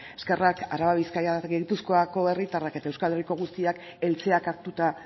eskerrak araba bizkaia eta gipuzkoako herritarrak eta euskal herriko guztiak eltzeak hartuta